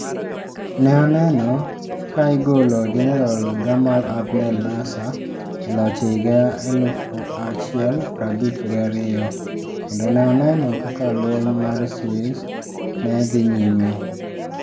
Ne oneno ka igolo Jenerol Gamal Abdel Nasser e loch e higa elufu achiel prabich gi ariyo, kendo ne oneno kaka lweny mar Suez ne dhi nyime.